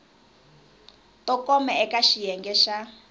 to koma eka xiyenge xa